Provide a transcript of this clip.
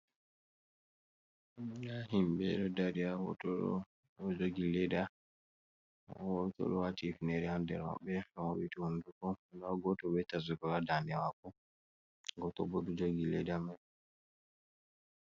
Ɗa himbe ɗo dari ha hoto ɗo. Oɗo jogi leɗa goto ɗo wati hifnere ha ɗer wabbe oɗo mappiti hunɗuko. Nda goto be tasbirgol ha ndane mako, goto bo oɗɗu jogi leɗa mai.